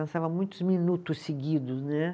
Dançava muitos minutos seguidos, né?